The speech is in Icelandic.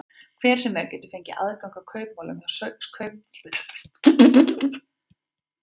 Hver sem er getur fengið aðgang að kaupmálum hjá sýslumanni og kynnt sér efni þeirra.